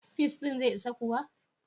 Peas ɗin zai isa kuwa?